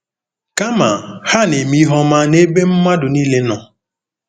Kama, ha “na-eme ihe ọma n’ebe mmadụ niile nọ.